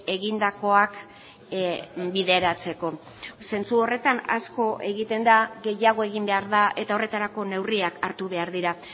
egindakoak bideratzeko zentzu horretan asko egiten da gehiago egin behar da eta horretarako neurriak hartu behar dira